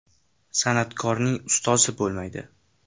San’atkorning ustozi bo‘lmaydi.